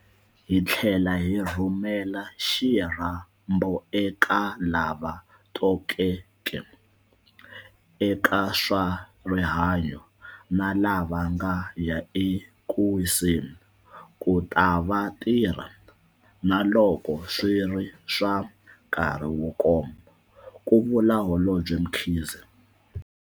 Hi tlhela hi rhumela xirhambo eka lava tokoteke eka swa rihanyo, na lava va nga ya eku wiseni, ku ta va ta tirha - naloko swi ri swa nkarhi wo koma, ku vula Holobye Mkhize.